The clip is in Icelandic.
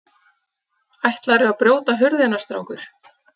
Ætlarðu að brjóta hurðina, strákur?